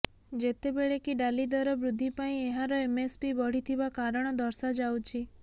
ଯେତେବେଳେକି ଡାଲି ଦର ବୃଦ୍ଧି ପାଇଁ ଏହାର ଏମ୍ଏସ୍ପି ବଢ଼ିଥିବା କାରଣ ଦର୍ଶାଯାଉଛି